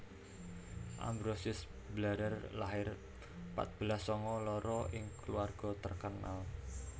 Ambrosius Blarer lahir patbelas sanga loro ing kulawarga terkenal